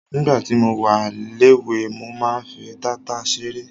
Nígbà tí mo wà léwe ,mo máa ń fi tata ṣeré.